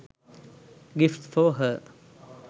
gifts for her